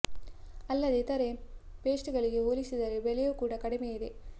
ಅಲ್ಲದೇ ಇತರೆ ಪೇಸ್ಟ್ ಗಳಿಗೆ ಹೋಲಿಸಿದರೆ ಬೆಲೆಯೂ ಕೂಡ ಕಡಿಮೆ ಇದೆ